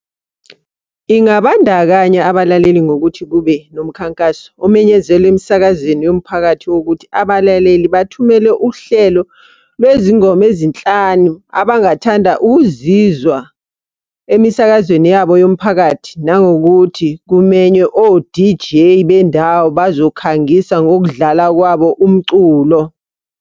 Ingabandakanya abalaleli ngokuthi kube nomkhankaso omenyezelwa emsakazweni yomphakathi wokuthi abalaleli bathumele uhlelo lwezingoma ezinhlanu abangathanda ukuzizwa emisakazweni yabo yomphakathi. Nangokuthi kumenywe o-D_J bendawo bazokhangisa ngokudlala kwabo umculo.